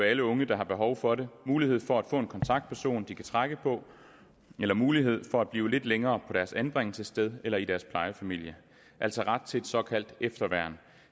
alle unge der har behov for det mulighed for at få en kontaktperson de kan trække på eller mulighed for at blive lidt længere på deres anbringelsessted eller i deres plejefamilie altså ret til et såkaldt efterværn